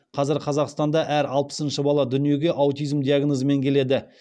қазір қазақстанда әр алпысыншы бала дүниеге аутизм диагнозымен келеді